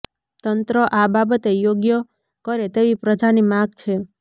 તંત્ર આ બાબતે યોગ્ય કરે તેવી પ્રજાની માગ છે